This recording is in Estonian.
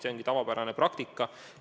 See ongi tavapärane praktika.